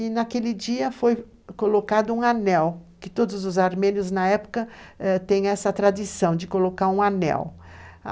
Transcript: E naquele dia foi colocado um anel, que todos os armênios na época têm essa tradição de colocar um anel.